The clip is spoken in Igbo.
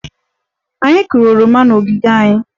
Anyị kụrụ oroma n'ogige anyị